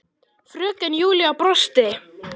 Fröken Júlía brosti.